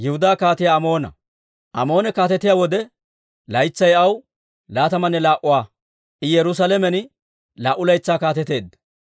Amoone kaatetiyaa wode, laytsay aw laatamanne laa"a; I Yerusaalamen laa"u laytsaa kaateteedda.